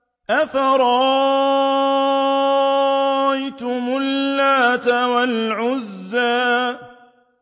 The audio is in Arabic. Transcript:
أَفَرَأَيْتُمُ اللَّاتَ وَالْعُزَّىٰ